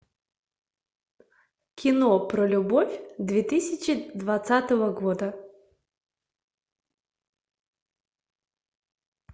кино про любовь две тысячи двадцатого года